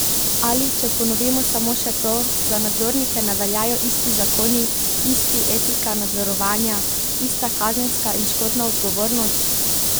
Ali, če ponovimo samo še to, za nadzornike ne veljajo isti zakoni, isti etika nadzorovanja, ista kazenska in škodna odgovornost?